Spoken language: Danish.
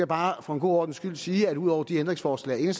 bare for en god ordens skyld sige at ud over de ændringsforslag